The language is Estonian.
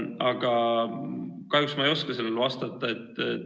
Aga kahjuks ma ei oska sellele vastata.